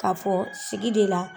Ka fɔ sigi de la